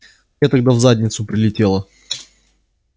мне тогда в задницу прилетело